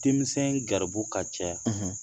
Denmisɛn garibu ka ca .